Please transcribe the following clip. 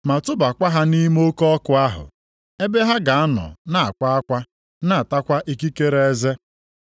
ma tụbakwa ha nʼime oke ọkụ ahụ. Ebe ha ga-anọ na-akwa akwa na-atakwa ikikere eze.”